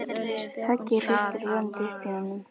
Höggið hristir vonandi upp í honum.